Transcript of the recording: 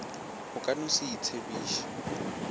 o ka no se itsebiše